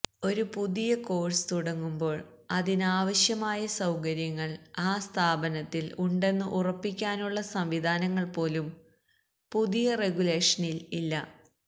ഒരു പുതിയ കോഴ്സ് തുടങ്ങുമ്പോൾ അതിനാവശ്യമായ സൌകര്യങ്ങൾ ആ സ്ഥാപനത്തിൽ ഉണ്ടെന്നു ഉറപ്പിക്കാനുള്ള സംവിധാനങ്ങൾ പോലും പുതിയ റെഗുലേഷനിൽ ഇല്ല